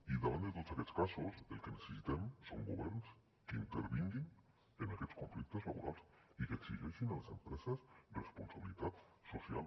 i davant de tots aquests casos el que necessitem són governs que intervinguin en aquests conflictes laborals i que exigeixin a les empreses responsabilitat social